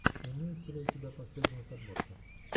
имеется ли у тебя последние подборки